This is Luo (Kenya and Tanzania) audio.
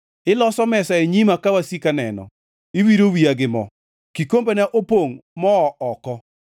Iloso mesa e nyima ka wasika neno. Iwiro wiya gi mo; kikombena opongʼ moo oko.